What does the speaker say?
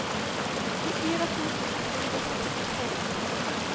tjuefire tusen ett hundre og sekstitre